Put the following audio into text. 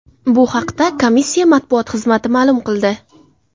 Bu haqda komissiya matbuot xizmati ma’lum qildi .